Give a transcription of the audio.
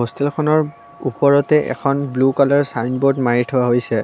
হোষ্টেলখনৰ ওপৰতে এখন blue colour signboard মাৰি থোৱা হৈছে।